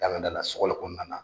Dalandala sogoli kɔnɔna na.